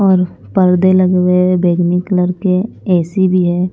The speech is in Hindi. और पर्दे लगे हुए बैगनी कलर के ए_सी भी है।